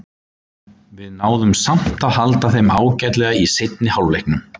Við náðum samt að halda þeim ágætlega í seinni hálfleiknum.